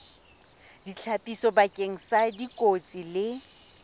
ditlhapiso bakeng sa dikotsi le